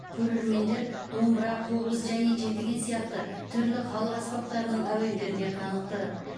көрермендер домбыра қобыз және жетіген сияқты түрлі халық аспаптарының әуендеріне қанықты